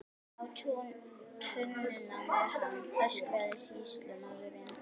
Á tunnuna með hann, öskraði sýslumaður.